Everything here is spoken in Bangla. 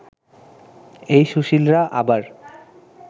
এই সুশীলরা আবার